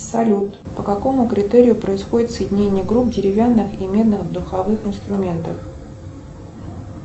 салют по какому критерию происходит соединение групп деревянных и медных духовых инструментов